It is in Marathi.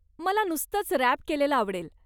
मला नुसतच रॅप केलेलं आवडेल.